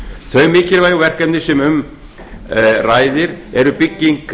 þau mikilvægu verkefni sem um ræðir eru bygging